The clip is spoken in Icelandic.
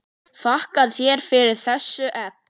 Þakka þér fyrir þessi egg.